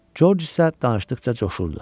Corc isə danışdıqca coşurdu.